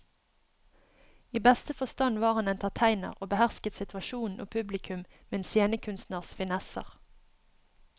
I beste forstand var han entertainer og behersket situasjonen og publikum med en scenekunstners finesser.